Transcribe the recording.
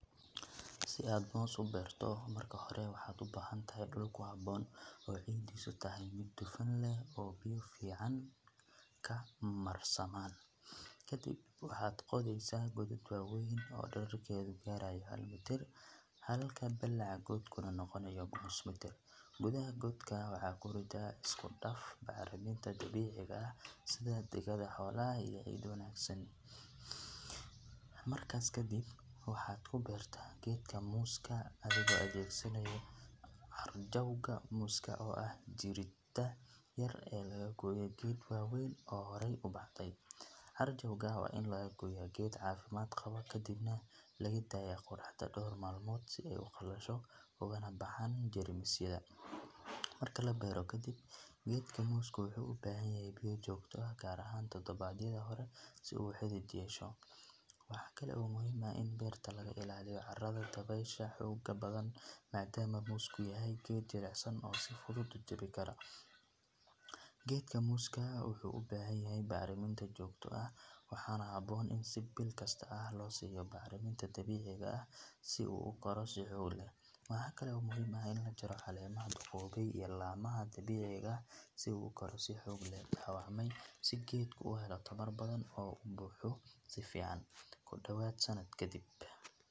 Si aad moos uberto marka hore waxad ubahantaxay duul kuxaboon oo cidasa tahay mid dufan leh oo biya fican marsaman, kadib waxad qodeysa godad wawen oo dulka hal miyir, balaca godkana nogonayo nus mitir, godaha godka waxad kurida iskudaf bacraminta dabiciga ah digada xoolaha oo wanagsan, markas kadib waxad kuberta gedka muska adigo adegsanayo carjowga mosskas, oo ah jirida yar ee lagoye gedka wen oo xorey ubahdey, carjowga wa in lagagoya geed cafimad gawaa kadibna lagadaya qoraxda door malmod si ay ugalasho oguna bahan jermisyada, marka labero kadib geedka mosska wuxu ubahanyaxay biya jogta ah, gaar ahan tadawadyada hore si u xidid yesho, waxakale oo muxiim ah in berta lagailaliyo cadarada dawesha xooga badan, maadamu mosska yahay geed jiicsan oo si fudud ujawikaroo, geedka mosska wuxu ubahanyaxay bacramin si joogto ah, waxana habon in biilkasta losiyo bacraminta dabiciga ah, si u ukaro, waxa kale oo muxiim ah in lagajaro calemaha, lamaha dabiciga ah si u ukaro si xowli ah si geedka u uhelo tawar badan oo buhdo si fican kudowad sanad kadib.